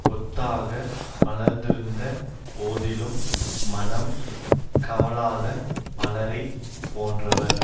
கொத்தாக மலர்ந்திருந்த போதிலும் மணம் கமழாத மலரை போன்றவர்